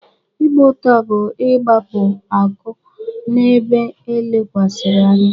Ịgba ụta bụ-igbapụ akụ n'ebe e lekwasịrị anya.